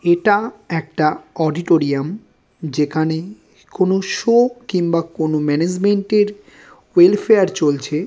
এটা একটা অডিটোরিয়াম যেখানে কোনো সো কিংবা কোনো ম্যানেজমেন্ট এর ওয়েলফেয়ার চলছে।